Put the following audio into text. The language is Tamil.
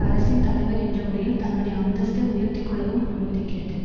அரசின் தலைவர் என்ற முறையில் தன்னுடைய அந்தஸ்த்தை உயர்த்தி கொள்ளவும் அனுமதிக்கிறது